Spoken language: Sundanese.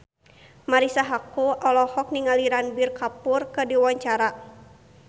Marisa Haque olohok ningali Ranbir Kapoor keur diwawancara